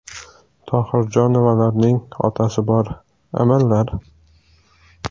Tohirjonovalarning otasi bor, amallar.